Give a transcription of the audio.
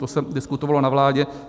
To se diskutovalo na vládě.